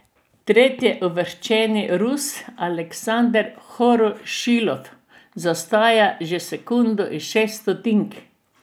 Tretjeuvrščeni Rus Aleksander Horošilov zaostaja že sekundo in šest stotink.